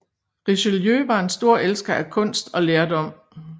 Richelieu var en stor elsker af kunst og lærdom